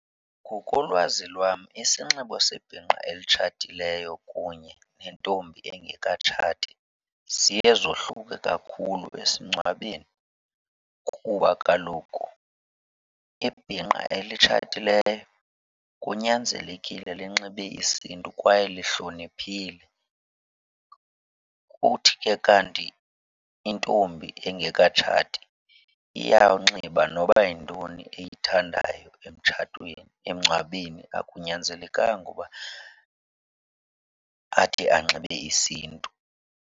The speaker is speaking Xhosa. Ngokolwazi lwam isinxibo sebhinqa elitshatileyo kunye nentombi engekatshati ziye zohluke kakhulu esingcwabeni kuba kaloku ibhinqa elitshatileyo kunyanzelekile linxibe isiNtu kwaye lihloniphile. Kuthi ke kanti intombi engekatshati iyawunxiba noba yintoni eyithandayo emtshatweni, emngcwabeni, akunyanzelekanga uba athi anxibe isiNtu.